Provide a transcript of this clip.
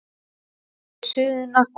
Látið suðuna koma upp.